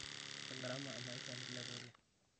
ore garama emaisha nilepa oleng'